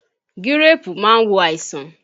Gíréèpù máa wo àìsàn